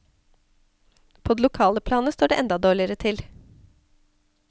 På det lokale planet står det enda dårlegare til.